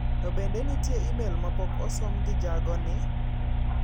To bende nitie imel ma pok osom gi jago ni?